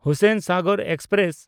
Hussainsagar express